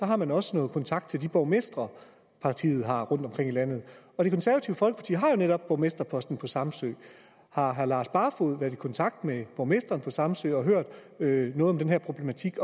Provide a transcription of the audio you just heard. har man også kontakt til de borgmestre partiet har rundtomkring i landet og det konservative folkeparti har jo netop borgmesterposten på samsø har herre lars barfoed været i kontakt med borgmesteren på samsø og hørt noget om den her problematik i